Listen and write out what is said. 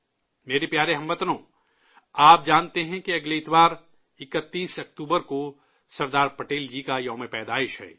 میرے پیارے ہم وطنو، آپ جانتے ہیں کہ اگلے اتوار، 31 اکتوبر کو، سردار پٹیل جی کی جنم جینتی ہے